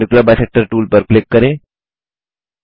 perpendicular bisector tool पर click करें